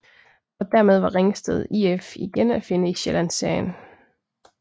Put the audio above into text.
Og dermed var Ringsted IF igen at finde i Sjællandsserien